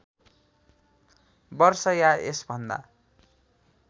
वर्ष या यसभन्दा